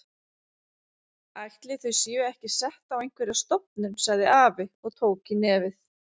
Ætli þau séu ekki sett á einhverja stofnun sagði afi og tók í nefið.